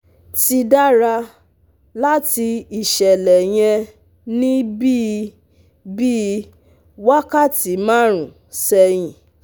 Ti dara lati iṣẹlẹ yẹn ni bii bii wakati marun sẹhin